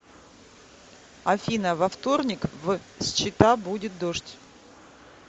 афина во вторник в счета будет дождь